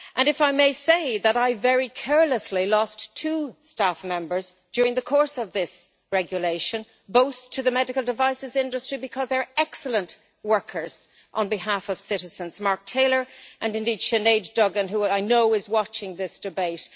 If I may say so, I very carelessly lost two staff members during the course of this regulation, and both to the medical devices industry, because they are excellent workers on behalf of citizens Mark Taylor and Sinead Duggan, who I know is watching this debate.